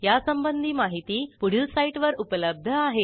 यासंबंधी माहिती पुढील साईटवर उपलब्ध आहे